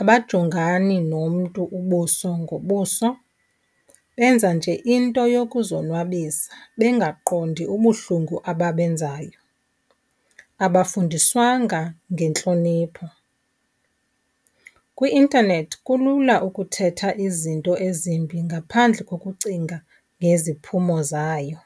abajongani nomntu ubuso ngobuso. Benza nje into yokuzonwabisa bengaqondi ubuhlungu ababenzayo. Abafundiswanga ngentlonipho. Kwi-intanethi kulula ukuthetha izinto ezimbi ngaphandle kokucinga ngeziphumo zayo.